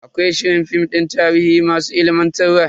Akwai shirin film din tarihi masu ilimantarwa.